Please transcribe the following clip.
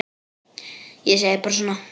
Ég segi bara svona.